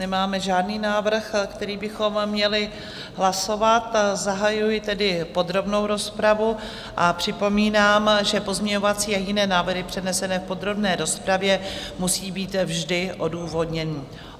Nemáme žádný návrh, který bychom měli hlasovat, zahajuji tedy podrobnou rozpravu a připomínám, že pozměňovací a jiné návrhy přednesené v podrobné rozpravě musí být vždy odůvodněny.